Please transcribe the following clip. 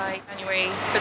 þetta